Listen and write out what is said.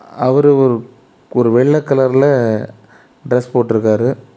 அவர் ஒரு ஒரு வெள்ள கலர்ல டிரஸ் போட்ருக்காரு.